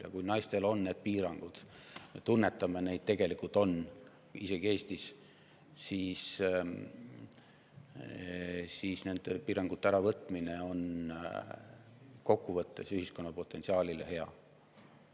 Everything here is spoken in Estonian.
Ja kui naistel on piirangud – me tunnetame, et neid tegelikult on, isegi Eestis –, siis nende piirangute mahavõtmine on kokkuvõttes ühiskonna potentsiaalile hea.